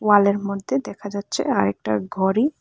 ওয়ালের মধ্যে দেখা যাচ্ছে আর একটা ঘড়ি।